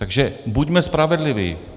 Takže buďme spravedliví.